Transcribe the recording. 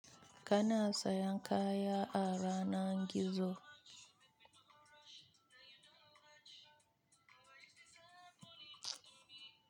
Kana sayan kaya a yanar gizo?